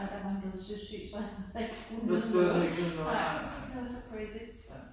Og der var han blevet søsyg så han havde ikke skulle nyde noget. Nej det var så crazy